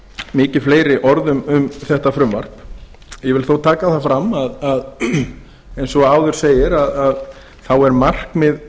mikið fleiri orð um þetta frumvarp ég vil þó taka fram eins og áður segir að þá er markmið